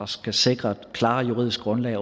skal sikre et klarere juridisk grundlag